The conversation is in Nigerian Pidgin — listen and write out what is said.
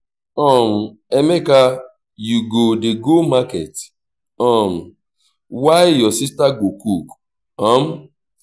um emeka you go dey go market um while your sister go cook um